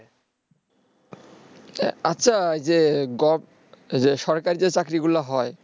আচ্ছা যে সরকার থেকে যে চাকরিগুলো হয়